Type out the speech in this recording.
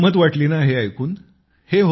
गंमत वाटली ना हे ऐकून